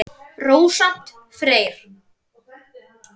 Rósant Freyr.